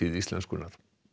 íslenskunnar